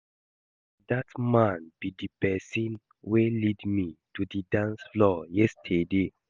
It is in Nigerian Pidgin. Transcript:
Na dat man be the person wey lead me to the dance floor yesterday